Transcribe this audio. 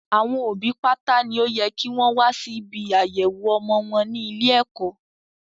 Àwọn òbí pátá ni ó yẹ kí wọn wá sí ibi àyẹ̀wọ̀ ọmọ wọn ní ilé ẹ̀kọ́